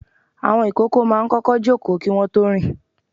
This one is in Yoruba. Àwọn ìkókó máa kọ́kọ́ kọ́ ìjòkó kí wọ́n tó rìn.